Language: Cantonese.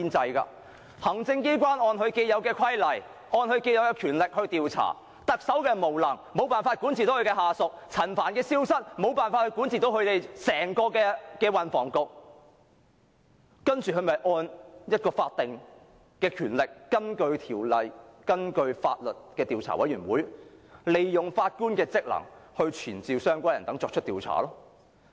行政機關按既有規例和權力進行調查，因為特首無能，無法管治下屬，容許陳帆消失，無法管治整個運輸及房屋局，所以便按法定權力，根據《調查委員會條例》成立調查委員會，賦予法官權力傳召相關人等進行調查。